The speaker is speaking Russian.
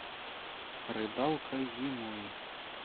рыбалка зимой